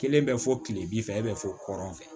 Kelen bɛ fɔ kile bi fɛ e bɛ fɔ kɔrɔnfɛ